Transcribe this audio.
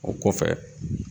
O kɔfɛ.